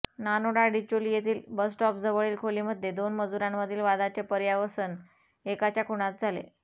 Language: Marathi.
नानोडा डिचोली येथील बसस्टॉपजवळील खोलीमध्ये दोन मजुरांमधील वादाचे पर्यावसन एकाच्या खुनात झाले